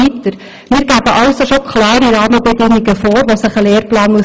Wir geben also bereits klare Rahmenbedingungen vor, die ein Lehrplan einhalten muss.